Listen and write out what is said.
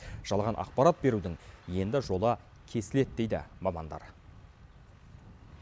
жалған ақпарат берудің енді жолы кесіледі дейді мамандар